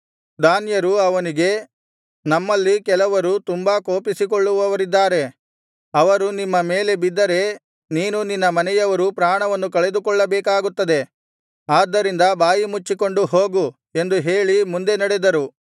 ದಾನ್ಯರು ಅವನಿಗೆ ನಮ್ಮಲ್ಲಿ ಕೆಲವರು ತುಂಬಾ ಕೋಪಿಸಿಕೊಳ್ಳುವವರಿದ್ದಾರೆ ಅವರು ನಿಮ್ಮ ಮೇಲೆ ಬಿದ್ದರೆ ನೀನೂ ನಿನ್ನ ಮನೆಯವರೂ ಪ್ರಾಣವನ್ನು ಕಳೆದುಕೊಳ್ಳಬೇಕಾಗುತ್ತದೆ ಆದ್ದರಿಂದ ಬಾಯಿಮುಚ್ಚಿಕೊಂಡು ಹೋಗು ಎಂದು ಹೇಳಿ ಮುಂದೆ ನಡೆದರು